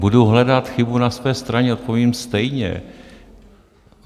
Budu hledat chybu na své straně, odpovím stejně.